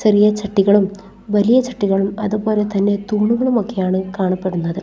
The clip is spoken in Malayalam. ചെറിയ ചട്ടികളും വലിയ ചട്ടികളും അതുപോലെ തന്നെ തൂണുകളും ഒക്കെയാണ് കാണപ്പെടുന്നത്.